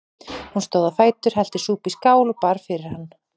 Hún stóð á fætur, hellti súpu í skál og bar fyrir hann.